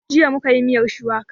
Jiya mu ka yi miyar shuwaka